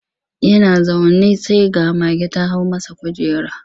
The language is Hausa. Yana zaune sai ga mage ta hau masa kujera.